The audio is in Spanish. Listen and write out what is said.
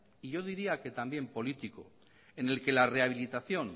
yo diría que también político en el que la rehabilitación